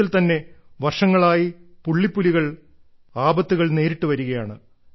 ലോകത്തിൽ തന്നെ വർഷങ്ങളായി പുള്ളിപ്പുലികൾ ആപത്തുകൾ നേരിട്ടു വരികയാണ്